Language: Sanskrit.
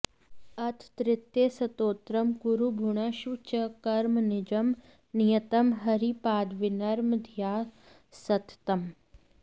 अथ तृतीयस्तोत्रम् कुरु भुङ्क्ष्व च कर्म निजं नियतं हरिपादविनम्रधिया सततं